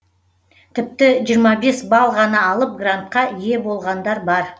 тіпті жиырма бес балл ғана алып грантқа ие болғандар бар